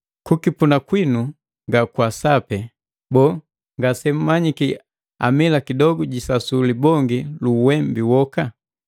Kukipuna kwinu nga kwasape! Boo, ngasemmanyiki amila kidogu jisasu libongi lu uwembe woka?